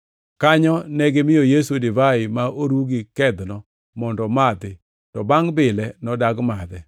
Kanyo negimiyo Yesu divai ma oru gi kedhno mondo omadhi, to bangʼ bile, nodagi madhe.